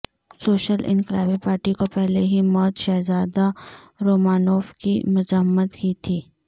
social انقلابی party کو پہلے ہی موت شہزادہ رومانوف کی مذمت کی تھی